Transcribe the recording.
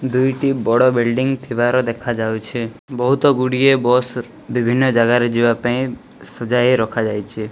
ଦୁଇଟି ବଡ଼ ବିଲଣ୍ଡିଙ୍ଗ ଥିବାର ଦେଖା ଯାଉଛି ବହୁତ ଗୁଡ଼ିଏ ବସ ବିଭିନ୍ନ ଜାଗାରେ ଯିବା ପାଇଁ ସଜାଇ ରଖା ଯାଇଛି।